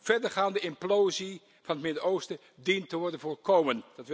Verdergaande implosie van het Midden Oosten dient te worden voorkomen.